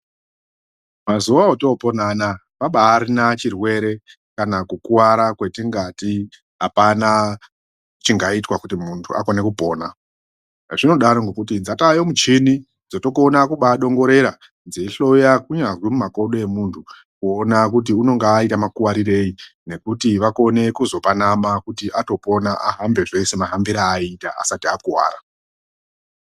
Mazuwa otopona anaa abarina chirwere kana kukuwara kwetingati apana chingaitwa kuti muntu akone kupona. Zvinodaro ngekuti dzatayo michini dzotokona kubadongorera dzeihloya kunyari mumakodo emuntu kuona kuti unonga aita makuwarirei nekuti vakone kuzopanana kuti atopona ahambe zvese mahambire aita asati akuwara.